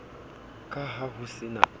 ka ha ho se na